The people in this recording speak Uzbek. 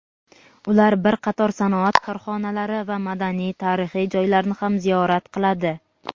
U bir qator sanoat korxonalari va madaniy-tarixiy joylarni ham ziyorat qiladi.